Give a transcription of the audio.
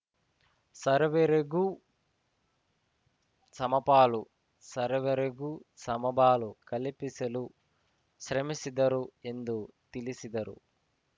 ಸರ್ವರೆಗೂ ಸಮಪಾಲು ಸರ್ವರೆಗೂ ಸಮಬಾಳು ಕಲ್ಪಿಸಲು ಶ್ರಮಿಸಿದರು ಎಂದು ತಿಳಿಸಿದರು